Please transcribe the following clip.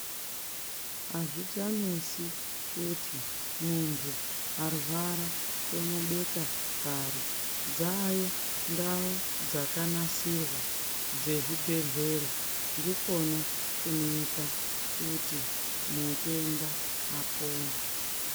Azvichanesi kuti munthu arwara tomubeka pari dzaayo ndau dzakanasirwa dzezvibhedhleya ndikona kunoita kuti mutenda apone.